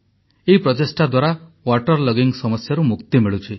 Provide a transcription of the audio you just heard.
ଏହି ପ୍ରଚେଷ୍ଟା ଦ୍ୱାରା ୱାଟର୍ ଲଗିଂ ସମସ୍ୟାରୁ ମୁକ୍ତି ମିଳୁଛି